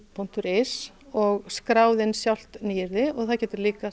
punktur is og skráð inn sjálft nýyrði og það getur líka